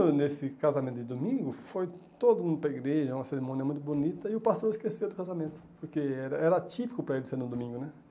E nesse casamento de domingo, foi todo mundo para a igreja, uma cerimônia muito bonita, e o pastor esqueceu do casamento, porque era era atípico para ele ser no domingo, né?